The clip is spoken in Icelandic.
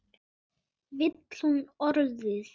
Vill hún orðið giftast þér?